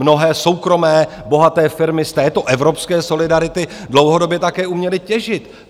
Mnohé soukromé bohaté firmy z této evropské solidarity dlouhodobě také uměly těžit.